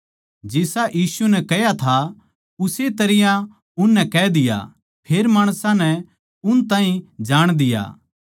जिसा यीशु नै कह्या था उस्से तरियां उननै कह दिया फेर माणसां नै उन ताहीं जाण दिया